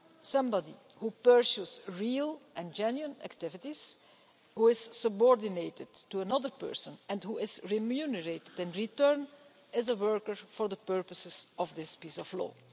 Somebody who pursues real and genuine activities, who is subordinated to another person and who is remunerated in return, is a worker for the purposes of this piece of law.